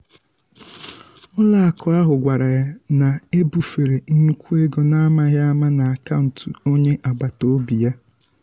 ụlọakụ ahụ gwara ya na ebufere nnukwu ego n’amaghi ama n’akaụntụ onye agbata obi ya.